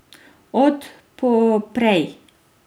Od poprej.